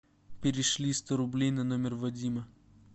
перешли сто рублей на номер вадима